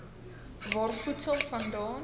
waar voedsel vandaan